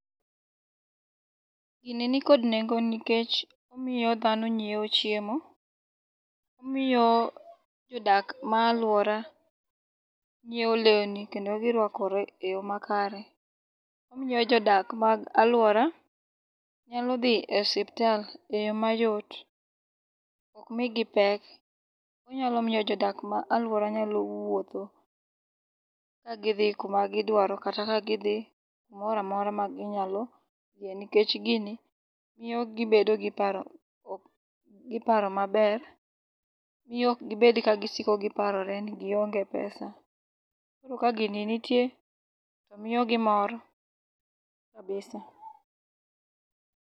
Gini ni kod nengo nikech omiyo dhano nyieo chiemo. Omiyo jodak ma aluora nyieo leuni kendo girwakore e yo makare. Omiyo jodak mag aluora nyalodhi e osiptal eyoo mayot okmigi pek ginyalomiyo jodak mag aluora nyalo wuotho kagidhi kuma gidwaro kata kagidhi kamoramora ma ginyalodhie nikech gini miyo gibedo gi paro maber. Miyo okgibed ka gisiko giparore ni gionge pesa. Koro ka gini nitie to miyogi mor kabisa.